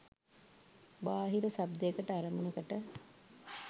බාහිර ශබ්දයකට අරමුණකට